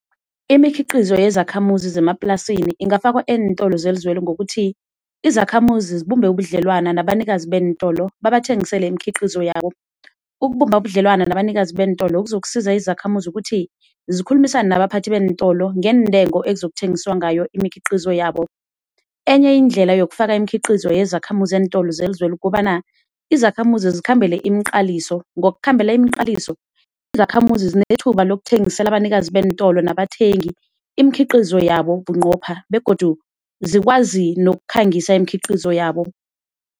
Imikhiqizo yezakhamuzi zemaplasini ingafakwa eentolo zelizweli ngokuthi izakhamuzi zibumbe ubudlelwana nabanikazi beentolo babathengisele imikhiqizo yabo. Ukubumba ubudlelwana nabanikazi beentolo kuzokusiza izakhamuzi ukuthi zikhulumisane nabaphathi beentolo ngeentengo ekuzokuthengiswa ngayo imikhiqizo yabo. Enye indlela yokufaka imikhiqizo yezakhamuzi eentolo zelizweli kukobana izakhamuzi zikhambele imiqaliso, ngokukhambela imiqaliso izakhamuzi zinethuba lokuthengisela abanikazi beentolo nabathengi imikhiqizo yabo bunqopha begodu zikwazi nokukhangisa imikhiqizo yabo.